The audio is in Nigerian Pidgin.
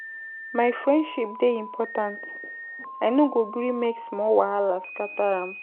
My friendship dey important, I no go gree make small wahala scatter am.